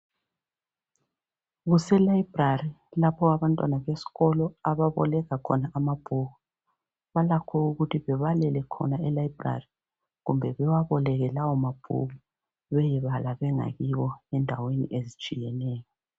Kuse library lapho abantwana besikolo ababoleka khona amabhuku. Balakho ukuthi bebalele khona e library kumbe bewaboleke lawo mabhuku bayebala bengakibo endaweni ezitshiyeneyo.